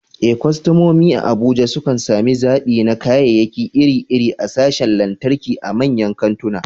Eh, kwastomomi a Abuja sukan sami zaɓi na kayayyaki iri-iri a sashin lantarki a manyan kantuna.